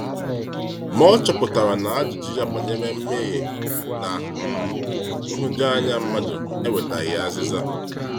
Ma ọ chọpụtara na ajụjụ ya banyere mmehie na um nhụjuanya mmadụ enwetaghị azịza.